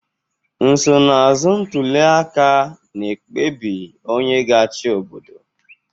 Nsonaazụ ntuliaka na ekpebi onye ga-achị obodo.